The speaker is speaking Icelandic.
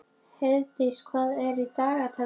Heiðdís, hvað er í dagatalinu mínu í dag?